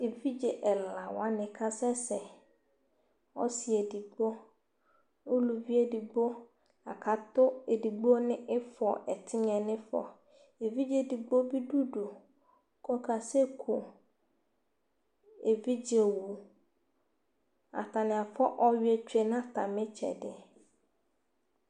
Tʋ evidze ɛla wanɩ kasɛsɛ, ɔsɩ edigbo uluvi edigbo la kʋ atʋ edigbo nʋ ɩfɔ ɛtɩnya yɛ nʋ ɩfɔ Evidze edigbo bɩ dʋ udu kʋ ɔkasɛku evidzewu Atanɩ afʋa ɔyʋɛ tsue nʋ atamɩ ɩtsɛdɩ